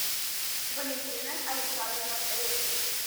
валентина александровна репкин